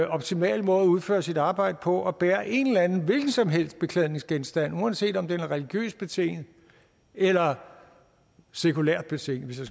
optimale måde at udføre sit arbejde på at bære en eller anden hvilken som helst beklædningsgenstand uanset om den er religiøst betinget eller sekulært betinget hvis